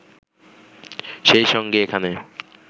সেই সঙ্গে এখানে